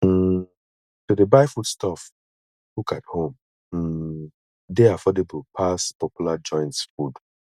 um to dey buy food stuff cook at home um dey affordable pass popular joints' food